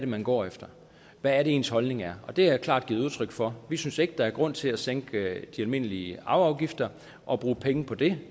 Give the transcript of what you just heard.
man går efter og hvad ens holdning er og det har jeg klart givet udtryk for vi synes ikke at der er grund til at sænke de almindelige arveafgifter og bruge penge på det